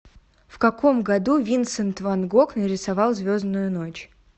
в каком году винсент ван гог нарисовал звездную ночь